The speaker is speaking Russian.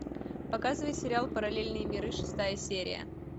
показывай сериалы параллельные миры шестая серия